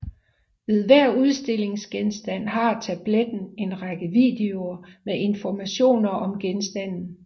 Ved hver udstillingsgenstand har tabletten en række videoer med informationer om genstanden